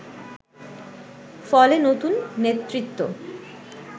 ফলে নতুন নেতৃত্ব